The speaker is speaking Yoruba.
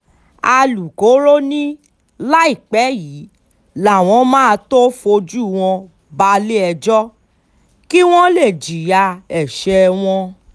alūkkóró ni láìpẹ́ yìí làwọn máa tóó fojú wọn balẹ̀-ẹjọ́ kí wọ́n lè jìyà ẹ̀ṣẹ̀ wọn